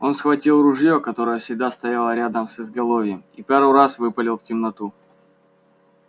он схватил ружье которое всегда стояло рядом с изголовьем и пару раз выпалил в темноту